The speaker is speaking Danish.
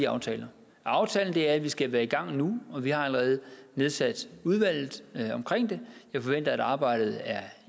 aftale aftalen er at vi skal være i gang nu og vi har allerede nedsat udvalget omkring det jeg forventer at arbejdet er